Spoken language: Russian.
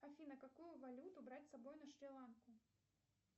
афина какую валюту брать с собой на шри ланку